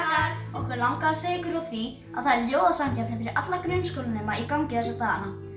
okkur langaði að segja ykkur frá því að það er ljóðasamkeppni fyrir alla grunnskólanema í gangi þessa dagana